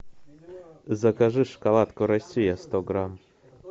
закажи шоколадку россия сто грамм